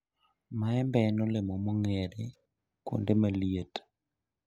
maembe en olemo mong'ere kuonde maliet